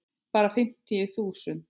Bara fimmtíu þúsund.